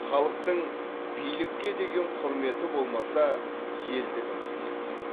халықтың билікке деген құрметі болмаса елдігімізге сын